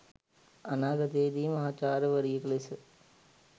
අනාගතයේදී මහාචාර්යවරියක ලෙස